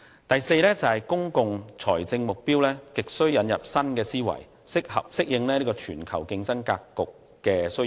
第四，公共財政目標亟需引入新思維，適應全球經濟競爭格局的需要。